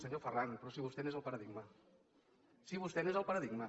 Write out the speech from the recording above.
senyor ferran però si vostè n’és el paradigma si vostè n’és el paradigma